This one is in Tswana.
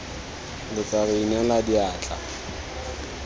lo tla re inela diatla